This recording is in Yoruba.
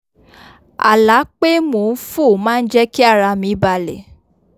àlá pé mò n fò má n jẹ́ kí ara mi balẹ̀